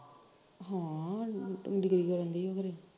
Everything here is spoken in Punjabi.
ਹਾਂ ਡਿਗਰੀ ਕਰਨ ਡਈ ਉਹ ਖਰੇ